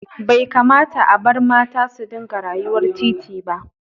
Bai kamata a bar mata su dinga rayuwar titi ba.